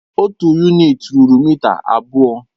Otu yunịti rúrú mịta abụọ.